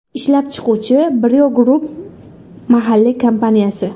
Ishlab chiquvchi Brio Group mahalliy kompaniyasi.